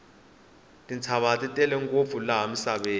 tintshava ti tele ngopfu laha misaveni